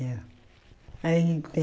Ia. Aí, bem